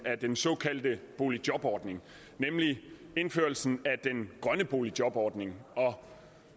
af den såkaldte boligjobordning nemlig indførelsen af den grønne boligjobordning og